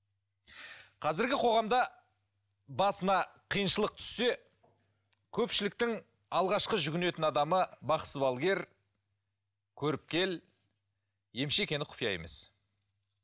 қазіргі қоғамда басына қиыншылық түссе көпшіліктің алғашқы жүгінетін адамы бақсы балгер көріпкел емші екені құпия емес